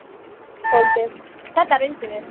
BÓNDI: Þetta reyndum við!